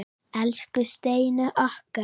Elsku Steini okkar.